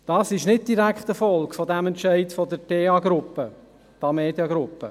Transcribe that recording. Dies ist nicht direkt eine Folge des Entscheids der Tamedia-Gruppe.